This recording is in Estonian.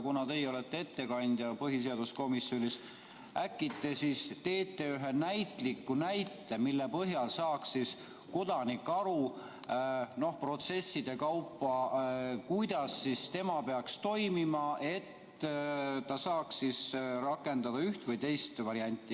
Kuna teie olete põhiseaduskomisjoni ettekandja, siis äkki te toote ühe näite, mille põhjal saaks kodanik aru protsesside kaupa, kuidas tema peaks toimima, et ta saaks rakendada üht või teist varianti.